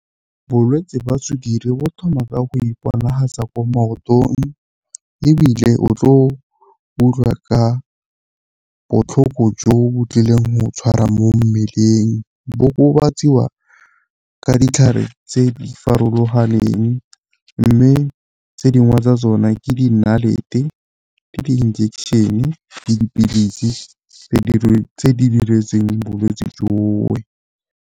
Bolwetsi jwa sukiri bo thoma ka go iponatsa ko maotong, ebile o tlo utlwa ka botlhoko jo bo tlileng go tshwara mo mmeleng. Bo okobatsiwa ka ditlhare tse di farologaneng, mme tse dingwe tsa tsona ke dinalete, ke di-injection-e, dipilisi tse di diretsweng bolwetsi .